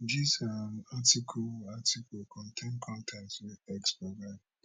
dis um article article contain con ten t wey x provide